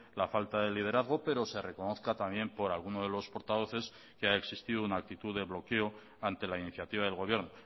la falta de liderazgo pero se reconozca también por alguno de los portavoces que ha existido una actitud de bloqueo ante la iniciativa del gobierno